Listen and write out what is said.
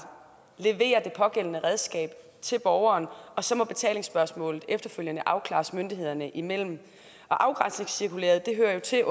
levere det pågældende redskab til borgeren og så må betalingsspørgsmålet efterfølgende afklares myndighederne imellem afgrænsningscirkulæret hører jo til